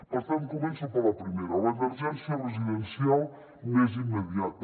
per tant començo per la primera l’emergència residencial més immediata